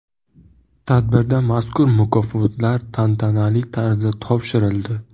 Tadbirda mazkur mukofotlar tantanali tarzda topshirildi.